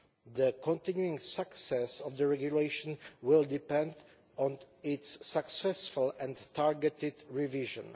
The continuing success of the regulation will depend on its successful and targeted revision.